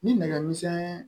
Ni nɛgɛmisɛn